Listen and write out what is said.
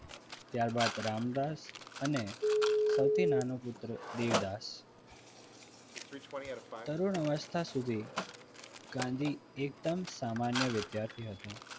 ત્યારબાદ રામદાસ અને સૌથી નાનો પુત્ર દેવદાસ તરુણ અવસ્થા સુધી ગાંધી એકદમ સામાન્ય વિદ્યાર્થી હતા.